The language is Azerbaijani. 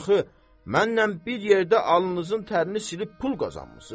mənnən bir yerdə alnınızın tərini silib pul qazanmısınız?